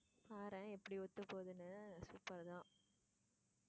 பாரேன் எப்படி ஒத்து போதுன்னு super தான்.